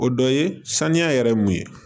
O dɔ ye saniya yɛrɛ ye mun ye